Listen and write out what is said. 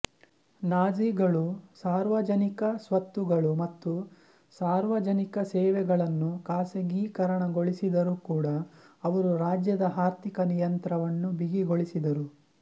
ನಾಜೀಗಳು ಸಾರ್ವಜನಿಕ ಸ್ವತ್ತುಗಳು ಮತ್ತು ಸಾರ್ವಜನಿಕ ಸೇವೆಗಳನ್ನು ಖಾಸಗೀಕರಣಗೊಳಿಸಿದರೂ ಕೂಡ ಅವರು ರಾಜ್ಯದ ಆರ್ಥಿಕ ನಿಯಂತ್ರಣವನ್ನು ಬಿಗಿಗೊಳಿಸಿದರು